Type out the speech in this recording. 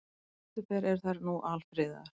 Sem betur fer eru þær nú alfriðaðar.